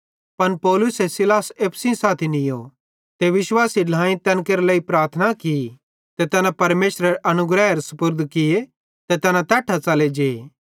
पन पौलुसे सीलास एप्पू साथी नीयो ते विश्वासी ढ्लाएईं तैन केरे लेइ प्रार्थना की ते तैना परमेशरेरे अनुग्रहेरे सुपुर्द किये ते तैना तैट्ठां च़ले जे